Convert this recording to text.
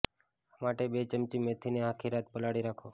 આ માટે બે ચમચી મેથીને આખી રાત પલાળી રાખો